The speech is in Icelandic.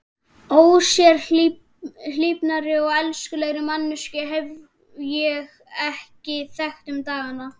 Ósérhlífnari og elskulegri manneskju hef ég ekki þekkt um dagana.